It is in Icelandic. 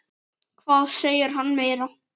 Hvað segir hann meira?